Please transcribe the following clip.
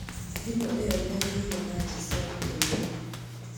Thĩmũĩo ndĩagĩire na anja cia gũkenĩa.